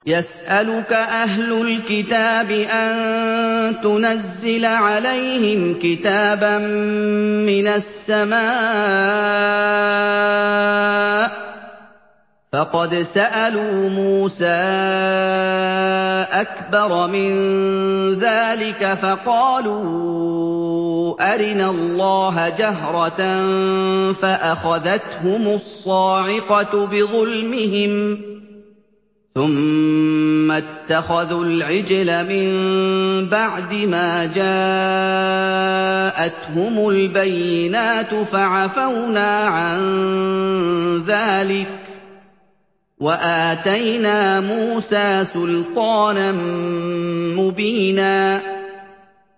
يَسْأَلُكَ أَهْلُ الْكِتَابِ أَن تُنَزِّلَ عَلَيْهِمْ كِتَابًا مِّنَ السَّمَاءِ ۚ فَقَدْ سَأَلُوا مُوسَىٰ أَكْبَرَ مِن ذَٰلِكَ فَقَالُوا أَرِنَا اللَّهَ جَهْرَةً فَأَخَذَتْهُمُ الصَّاعِقَةُ بِظُلْمِهِمْ ۚ ثُمَّ اتَّخَذُوا الْعِجْلَ مِن بَعْدِ مَا جَاءَتْهُمُ الْبَيِّنَاتُ فَعَفَوْنَا عَن ذَٰلِكَ ۚ وَآتَيْنَا مُوسَىٰ سُلْطَانًا مُّبِينًا